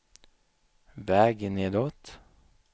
väg nedåt